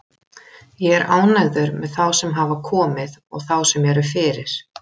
Ég er ánægður með þá sem hafa komið og þá sem eru fyrir.